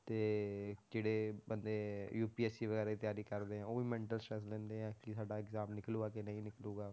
ਤੇ ਕਿਹੜੇ ਬੰਦੇ UPSC ਵਗ਼ੈਰਾ ਦੀ ਤਿਆਰੀ ਕਰਦੇ ਆ, ਉਹ ਵੀ mental stress ਲੈਂਦੇ ਆ ਕਿ ਸਾਡਾ exam ਨਿਕਲੇਗਾ ਕਿ ਨਹੀਂ ਨਿਕਲੇਗਾ